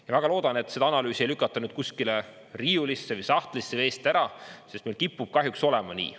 Ma väga loodan, et seda analüüsi ei lükata nüüd kuskile riiulisse või sahtlisse või eest ära, sest meil kipub kahjuks olema nii.